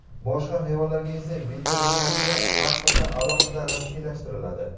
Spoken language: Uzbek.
Boshqa hayvonlarga esa veterinariya pasporti alohida rasmiylashtiriladi.